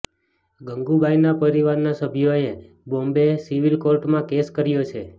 ગંગુબાઈના પરિવારના સભ્યોએ બોમ્બે સિવિલ કોર્ટમાં કેસ કર્યો છે